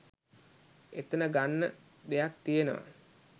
එතන ගන්න දෙයක් තියනවා